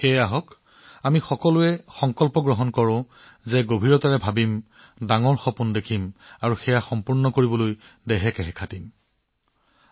গতিকে আমি ডাঙৰ চিন্তা কৰিবলৈ ডাঙৰ সপোন দেখিবলৈ আৰু সেইবোৰ পূৰণ কৰিবলৈ জীৱন দিয়াৰ আমাৰ সংকল্প পুনৰাবৃত্তি কৰো আহক